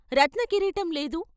రత్నకిరీటం లేదు.